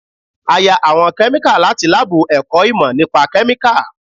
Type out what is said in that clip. A yá àwọn kẹ́míkà láti lábù ẹ̀kọ́ ìmọ́ nípa kẹ́míkà